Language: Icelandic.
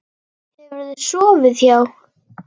Hefurðu sofið hjá?